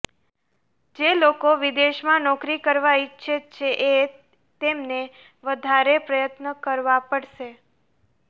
જે લોકો વિદેશમાં નોકરી કરવા ઈચ્છે છએ તેમને વધારે પ્રયત્ન કરવા પડશે